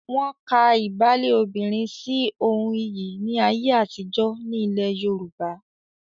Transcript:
Wọ́n ka ìbálé obìnrin sí ohun iyì ní ayé àtijọ́ ní ilẹ̀ Yorùbá.